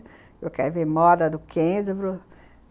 Eu quero ver moda do Kenzo.